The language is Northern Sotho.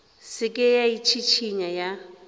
se ke ya itšhišinya ya